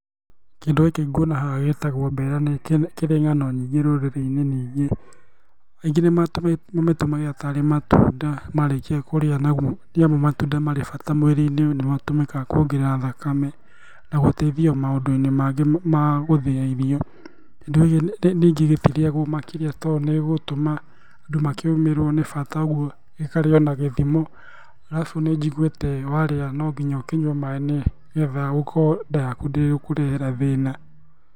Kĩndũ gĩkĩ nguona haha gitagwo mbera, na nĩkĩrĩ ng'ano nyingĩ rũrĩrĩ-inĩ, ningĩ aingĩ nĩ matũ mamĩtũmagĩra tarĩ matunda marĩkia kũrĩa nĩamũ matunda marĩ bata mwĩrĩinĩ. Nĩ matũmĩkaga kuongerera thakame na gũteithia maũndũ-inĩ mangĩ ma gũthĩa irio. Kĩndũ gĩkĩ ningĩ gĩtirĩagwo makĩria tondũ nĩ gĩgũtuma andũ makĩũmĩrwo nĩ bata ũguo gĩkarĩo na gĩthimo, alafu nĩ njiguĩte warĩa no nginya ũkinyua maĩ nĩgetha ũkorwo nda yakũ ndĩgũkũrehera thĩna.